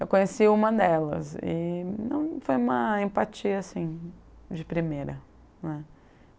Eu conheci uma delas e não, foi uma empatia assim, de primeira, né.